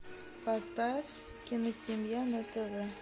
поставь киносемья на тв